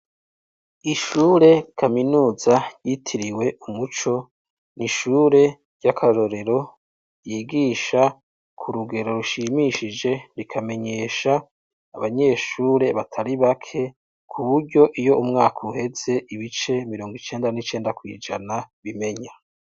Ishure kaminuza ryitiriwe umuco, ni ishure ry'akarorero ryigisha ku rugero rushimishije rikamenyesha abanyeshure batari bake kuburyo iyo umwaka uhetse ibice mirongo icenda n'icenda kwijana bimenya.